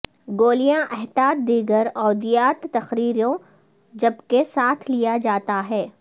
گولیاں احتیاط دیگر ادویات تقرریوں جبکہ ساتھ لیا جاتا ہے